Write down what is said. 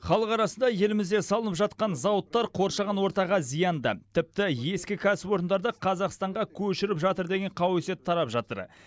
халық арасында елімізде салынып жатқан зауыттар қоршаған ортаға зиянды тіпті ескі кәсіпорындарды қазақстанға көшіріп жатыр деген қауесет тарап жатыр